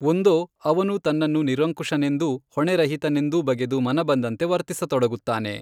ಒಂದೋ ಅವನು ತನ್ನನ್ನು ನಿರಂಕುಶನೆಂದೂ ಹೊಣೆರಹಿತನೆಂದೂ ಬಗೆದು ಮನಬಂದಂತೆ ವರ್ತಿಸತೊಡಗುತ್ತಾನೆ.